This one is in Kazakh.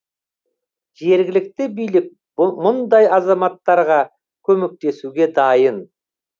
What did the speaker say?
жергілікті билік мұндай азаматтарға көмектесуге дайын